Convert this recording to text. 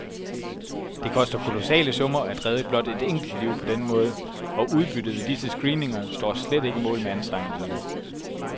Det koster kolossale summer at redde blot et enkelt liv på denne måde, og udbyttet ved disse screeninger står slet ikke mål med anstrengelserne.